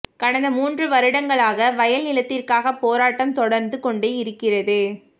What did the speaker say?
கடந்த மூன்று வருடங்களாக வயல் நிலத்திற்கான போராட்டம் தொடர்ந்து கொண்டே இருக்கிறது